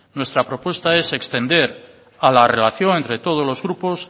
nuestra propuesta es extender a la relación entre todos los grupos